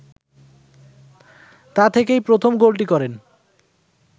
তা থেকেই প্রথম গোলটি করেন